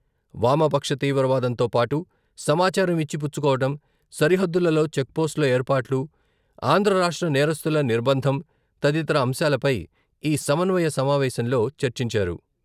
వామపక్ష తీవ్రవాదంతో పాటు సమాచారం ఇచ్చి పుచ్చుకోవడం, సరిహద్దులలో చెక్పోస్టులు ఏర్పాటు, ఆంధ్ర రాష్ట్ర నేరస్థుల నిర్బంధం తదితర అంశాలపై ఈ సమన్వయ సమావేశంలో చర్చించారు.